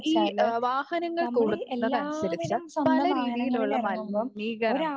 ഈ ആഹ് വാഹനങ്ങൾ കൂടുന്നതനുസരിച്ച് പലരീതിയിലുള്ള മലിനീകരണം